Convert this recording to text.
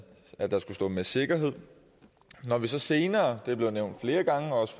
at der skulle stå med sikkerhed når vi så senere det er blevet nævnt flere gange også